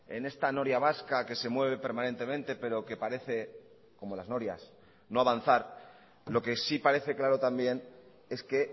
en esta noria vasca que se mueve permanentemente pero que parece como las norias no avanzar lo que sí parece claro también es que